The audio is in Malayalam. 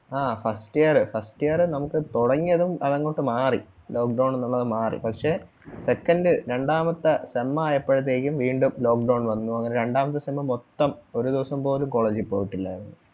ആ first year, first year നമുക്ക് തുടങ്ങിയതും അത് അങ്ങോട്ട് മാറി lockdown എന്നൊള്ളത്‌ മാറി. പക്ഷേ second രണ്ടാമത്തെ sem ആയപ്പോഴത്തേക്കും വീണ്ടും lockdown വന്നു അങ്ങനെ രണ്ടാമത്തെ sem മൊത്തം ഒരു ദിവസം പോലും college ൽ പോയിട്ടില്ലാരുന്നു.